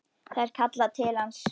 Það er kallað til hans.